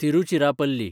Tiruchirappalli